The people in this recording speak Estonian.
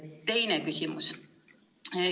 Teine küsimus.